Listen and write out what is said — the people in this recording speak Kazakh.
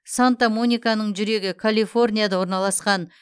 санта мониканың жүрегі калифорнияда орналасқан